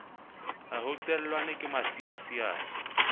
ha ho qellwane ke masiasiane